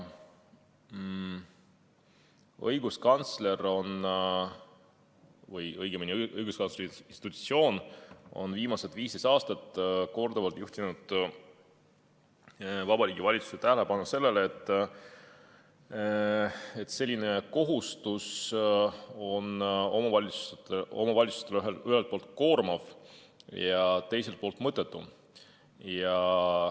Õiguskantsleri institutsioon on viimased 15 aastat korduvalt juhtinud Vabariigi Valitsuse tähelepanu sellele, et selline kohustus on omavalitsustele ühelt poolt koormav ja teiselt poolt mõttetu.